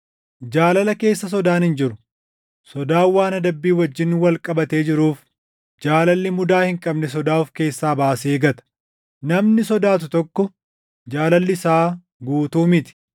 Jaalala keessa sodaan hin jiru. Sodaan waan adabbii wajjin wal qabatee jiruuf jaalalli mudaa hin qabne sodaa of keessaa baasee gata. Namni sodaatu tokko jaalalli isaa guutuu miti.